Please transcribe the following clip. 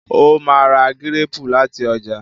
o má rà Gírèèpù lati ọjà